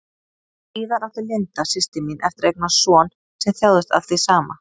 Síðar átti Linda, systir mín, eftir að eignast son sem þjáðist af því sama.